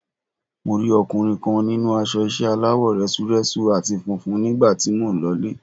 Mo rí ọkùnrin kan nínú aṣọ ìṣe aláwọ̀ rẹ́súrẹ́sú àti funfun nígbà tí mò ń lọ ilé.